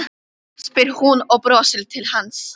spyr hún og brosir til hans.